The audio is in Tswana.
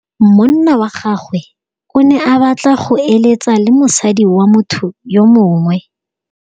Monna wa gagwe o ne a batla go êlêtsa le mosadi wa motho yo mongwe.